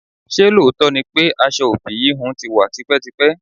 Ṣé lóòótọ́ ni pé aṣọ ofi íhùn tí wá tipẹ́tipẹ́?